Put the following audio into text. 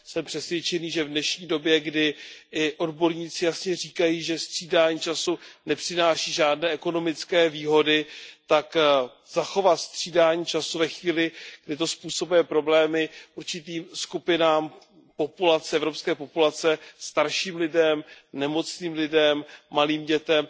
Jsem přesvědčený, že v dnešní době, kdy i odborníci jasně říkají, že střídání času nepřináší žádné ekonomické výhody, tak zachovat střídání času ve chvíli, kdy to způsobuje problémy určitým skupinám evropské populace, starším lidem, nemocným lidem, malým dětem,